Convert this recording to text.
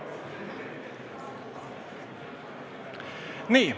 Nii.